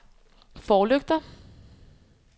forlygter